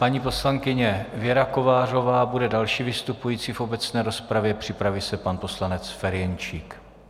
Paní poslankyně Věra Kovářová bude další vystupující v obecné rozpravě, připraví se pan poslanec Ferjenčík.